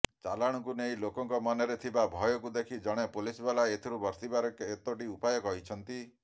ଚାଲାଣକୁ ନେଇ ଲୋକଙ୍କ ମନରେ ଥିବା ଭୟକୁ ଦେଖି ଜଣେ ପୋଲିସବାଲା ଏଥିରୁ ବର୍ତ୍ତିବାର କେତୋଟି ଉପାୟ କହିଛନ୍ତି